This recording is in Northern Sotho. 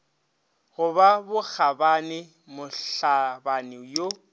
go ba bokgabani mohlabani yo